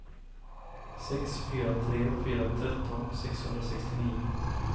sex fyra tre fyra tretton sexhundrasextionio